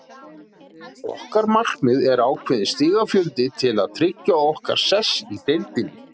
Okkar markmið er ákveðinn stigafjöldi til að tryggja okkar sess í deildinni.